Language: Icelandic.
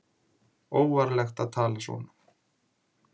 Óvarlegt að tala svona